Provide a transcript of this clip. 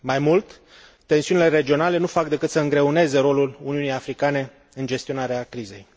Mai mult, tensiunile regionale nu fac decât să îngreuneze rolul Uniunii Africane în gestionarea crizei.